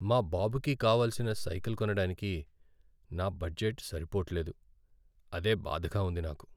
మా బాబుకి కావాల్సిన సైకిల్ కొనడానికి నా బడ్జెట్ సరిపోట్లేదు. అదే బాధగా ఉంది నాకు.